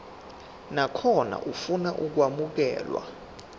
nakhona ofuna ukwamukelwa